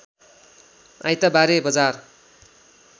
आइतबारे बजार